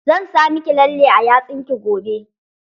Zan sa miki lalle a yatsun ki gobe.